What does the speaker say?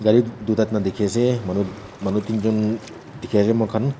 dikhe ase manu manu tinjun dikhi ase moikhan.